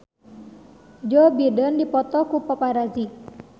Joe Biden dipoto ku paparazi